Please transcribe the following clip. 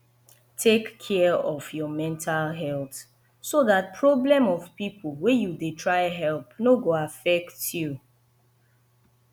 take care of your mental health so dat problem of pipo wey you dey try help no go affect you